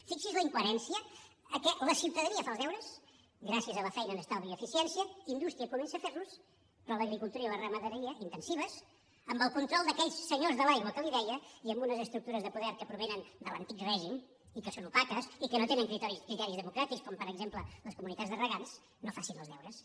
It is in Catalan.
fixi’s en la incoherència la ciutadania fa els deures gràcies a la feina en estalvi i eficiència la indústria comença a fer los però l’agricultura i la ramaderia intensives amb el control d’aquells senyors de l’aigua que li deia i amb unes estructures de poder que provenen de l’antic règim i que són opaques i que no tenen criteris democràtics com per exemple les comunitats de regants no fan els deures